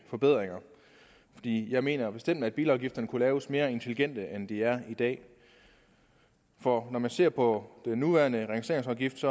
forbedringer jeg mener bestemt at bilafgifterne kunne laves mere intelligent end de er i dag for når man ser på den nuværende registreringsafgift